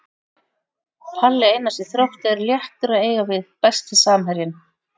Palli Einars í Þrótti er léttur að eiga við Besti samherjinn?